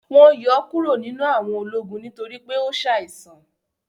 Wọn yọ kùro ninu àwọn ólogun nitori pe o ṣàisan